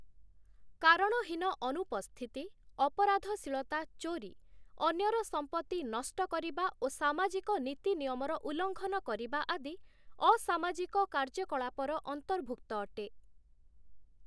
କାରଣହୀନ ଅନୁପସ୍ଥିତି, ଅପରାଧଶୀଳତା ଚୋରି, ଅନ୍ୟର ସମ୍ପତ୍ତି ନଷ୍ଟ କରିବା ଓ ସାମାଜିକ ନୀତିନିୟମର ଉଲଂଘନ କରିବା ଆଦି ଅସାମାଜିକ କାର୍ଯ୍ୟକଳାପର ଅନ୍ତର୍ଭୁକ୍ତ ଅଟେ ।